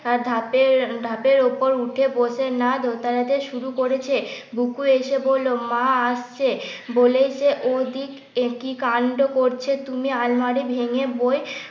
ধাপে ধাপের উপর উঠে বসে শুরু করেছে। বুকু এসে বলল মা আসছে বলে যে ওদিকে কি কাণ্ড করছে তুমি আলমারি ভেঙে বই